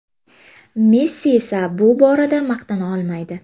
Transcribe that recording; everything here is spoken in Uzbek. Messi esa bu borada maqtana olmaydi.